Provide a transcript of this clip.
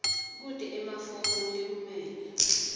kute emafomu lekumele